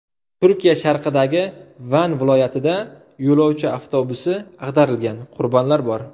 Turkiya sharqidagi Van viloyatida yo‘lovchi avtobusi ag‘darildi, qurbonlar bor.